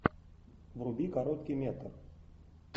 вруби короткий метр